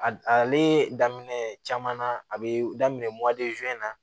A ale daminɛ caman na a bɛ daminɛ na